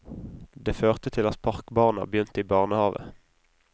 Det førte til at parkbarna begynte i barnehave.